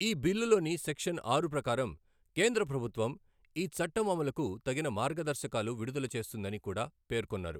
ఈ బిల్లులోని సెక్షన్ ఆరు ప్రకారం, కేంద్ర ప్రభుత్వం ఈ చట్టం అమలుకు తగిన మార్గదర్శకాలు విడుదల చేస్తుందని కూడా పేర్కొన్నారు.